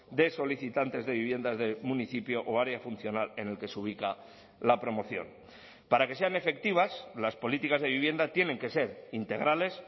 de solicitantes de viviendas del municipio o área funcional en el que se ubica la promoción para que sean efectivas las políticas de vivienda tienen que ser integrales